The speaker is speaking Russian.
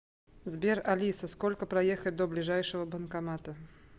сбер алиса сколько проехать до ближайшего банкомата